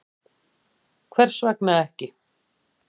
Hvers vegna ekki?